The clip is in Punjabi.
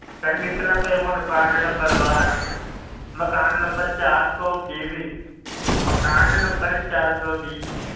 ਚੱਲ ਲਿਖ ਲਾ ਫਿਰ ਹੁਣ ਵਾਰਡ number ਬਾਰਾਂ, ਮਕਾਨ number ਚਾਰ ਸੌ ਵੀਹ, ਮਕਾਨ number ਚਾਰ ਸੌ ਵੀਹ,